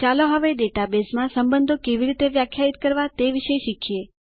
ચાલો હવે ડેટાબેઝમાં સંબંધો કેવી રીતે વ્યાખ્યાયિત કરવા તે વિશે શીખીએ